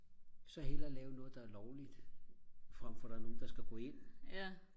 så hellere lave noget der er lovligt frem for der er nogen der skal gå ind